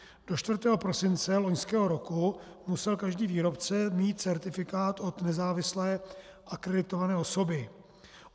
Do 4. prosince loňského roku musel každý výrobce mít certifikát od nezávislé akreditované osoby.